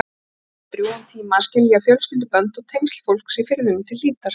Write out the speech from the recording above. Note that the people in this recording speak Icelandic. Það tók þá drjúgan tíma að skilja fjölskyldubönd og tengsl fólksins í firðinum til hlítar.